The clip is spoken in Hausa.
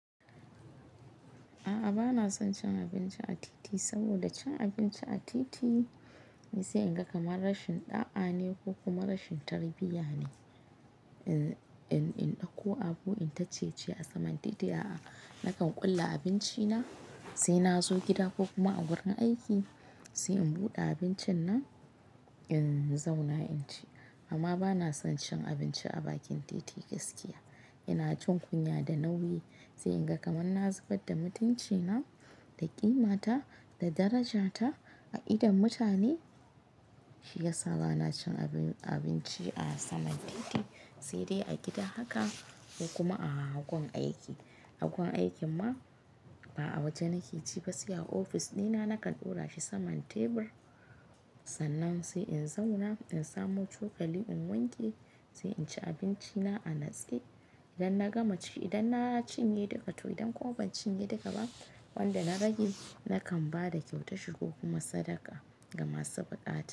A'a bana son cin abinci a titi saboda cin abinci a titi sai in ga kamar rashin ɗa'a ne ko kuma rashin tarbiyya ne in, in ɗauko abu in ta ciye-ciye a saman titi. A'a nakan ƙulla abinci na sai na zo gida ko kuma a wurin aiki sai in buɗe abincin nan in zauna in ci. Amma bana son cin abinci a bakin titi gaskiya. Ina jin kunya da nauyi sai in ga kamar na zubar da mutunci na, da ƙima ta, da daraja ta a idon mutane. Shi ya sa bana cin abinci a saman titi, sai dai a gida haka ko kuma a gurin aiki. A grurin aikin ma ba a waje na ke ci gaskiya a ofis ɗina nakan ɗora shi saman tebur sannan sai in zauna in samo cokali in wanke sai in ci abinci na a natse. Idan na gama ci, idan na cinye duka to idan ko ban cinye duka ba wanda na rage nakan ba da kyautar shi ko kuma sadaka ga masu buƙata.